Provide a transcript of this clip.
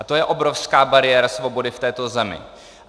A to je obrovská bariéra svobody v této zemi.